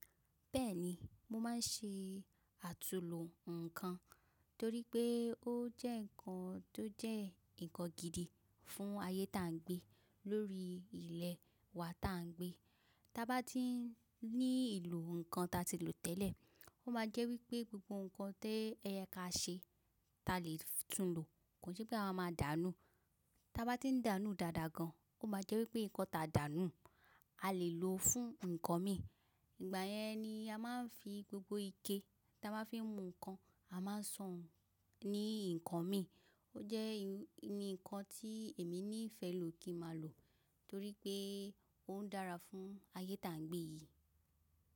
Bẹ́ẹ̀ni, mo máa ń ṣe àtulò ǹkan torí pé ó jẹ́ ǹkan tó jẹ́ nǹkan gidi fún ayé ta n gbé lórí ilẹ̀ wa tá n gbé. Ta ba ti ní ìlò ǹkan ta ti lò tẹ́lẹ̀, ó máa jẹ́ wípé gbogbo ǹkan tí o yẹ ka ṣe ta le tún lò. Kò n ṣẹ́ pé a ma máa dàánù. Ta ba ti ń dàánù dáadáa gan, ó máa jẹ́ wípé ǹkan ta dàna a le lò fún ǹkan míràn. Ìgbà yẹn ni a máa ń fi gbogbo ike ta máa ń fi mú ǹkan, a máa san ní ǹkan míràn. Ó jẹ́ irú ǹkan tí èmi ní ìfẹ́ lò kí ma lò torí pé ó ń dára fún ayé ta n gbé yìí.